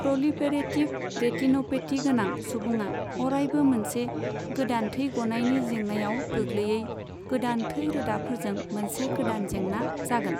Proliferative retinopathy गोनां सुबुंआ अरायबो मोनसे गोदान थै गनायनि जेंनायाव गोग्लैयै, गोदान थै रोदाफोरजों मोनसे गोदान जेंना जागोन।